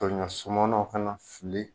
Tari ɲɔ sumananw ka na fili.